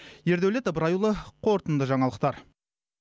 ердаулет ыбырайұлы қорытынды жаңалықтар